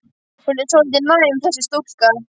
Hún er svolítið næm, þessi stúlka.